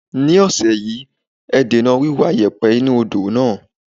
This week, reduce the dredging of the river.